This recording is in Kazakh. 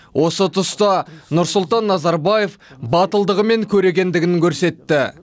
осы тұста нұрсұлтан назарбаев батылдығы мен көрегендігін көрсетті